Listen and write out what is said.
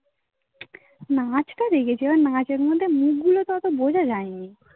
না আজকাল রেগে যাওয়া, মাঝের মধ্যে মুখগুলো তো অতো বোঝা যায় নি